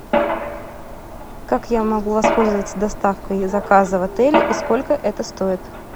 как я могу воспользоваться доставкой заказа в отеле и сколько это стоит